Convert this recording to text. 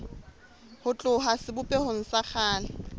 ho tloha sebopehong sa kgale